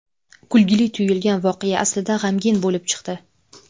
Kulgili tuyulgan voqea aslida g‘amgin bo‘lib chiqdi.